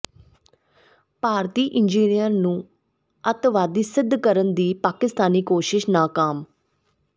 ਭਾਰਤੀ engineer ਨੂੰ ਅੱਤਵਾਦੀ ਸਿੱਧ ਕਰਨ ਦੀ ਪਾਕਿਸਤਾਨੀ ਕੋਸ਼ਿਸ਼ ਨਾਕਾਮ